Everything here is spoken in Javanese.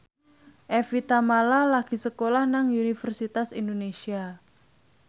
Evie Tamala lagi sekolah nang Universitas Indonesia